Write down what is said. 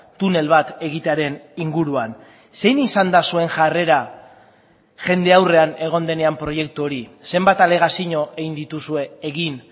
tunel bat egitearen inguruan zein izan da zuen jarrera jende aurrean egon denean proiektu hori zenbat alegazio egin dituzue egin